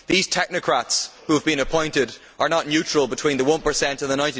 These technocrats who have been appointed are not neutral between the 1 and the